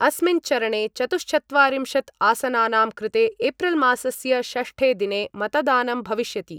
अस्मिन् चरणे चतुः चत्वारिंशत् आसनानां कृते एप्रिल् मासस्य षष्ठे दिने मतदानं भविष्यति।